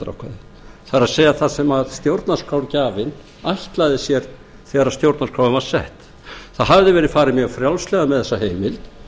heimildarákvæði það er það sem stjórnarskrárgjafinn ætlaði sér þegar stjórnarskráin var sett það hafði verið farið mjög frjálslega með þessa heimild